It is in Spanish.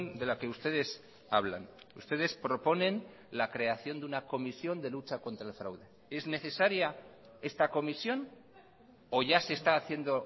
de la que ustedes hablan ustedes proponen la creación de una comisión de lucha contra el fraude es necesaria esta comisión o ya se está haciendo